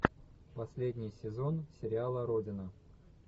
последний сезон сериала родина